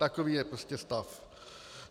Takový je prostě stav.